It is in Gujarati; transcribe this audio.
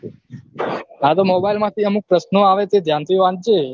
હા તો mobile માંથી અમુક પ્રશ્નો આવે છે ધ્યાન થી વાંચજે